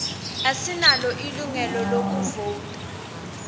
asinalo ilungelo lokuvota